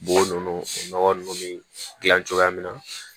Bo nunnu nɔgɔ nunnu bɛ dilan cogoya min na